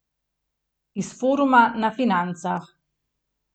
Iz foruma na Financah.